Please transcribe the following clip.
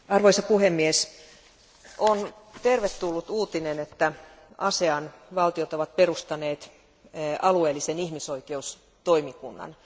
Arvoisa puhemies, on tervetullut uutinen, että ASEAN valtiot ovat perustaneet alueellisen ihmisoikeustoimikunnan.